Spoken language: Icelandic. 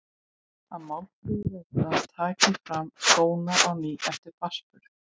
Að Málfríður Erna taki fram skóna á ný eftir barnsburð.